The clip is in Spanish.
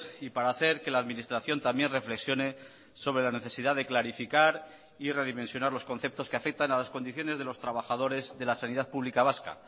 y para hacer que la administración también reflexione sobre la necesidad de clarificar y redimensionar los conceptos que afectan a las condiciones de los trabajadores de la sanidad pública vasca